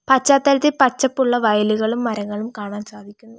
പശ്ചാത്തലത്തിൽ പച്ചപ്പുള്ള വയലുകളും മരങ്ങളും കാണാൻ സാധിക്കുന്നു.